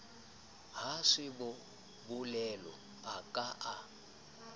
ha sebolelo a ka a